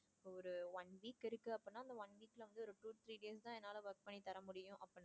two three days தான் என்னால work பண்ணி தரமுடியும் அப்படின்னா,